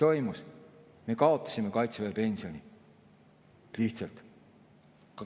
Me lihtsalt kaotasime kaitseväepensioni.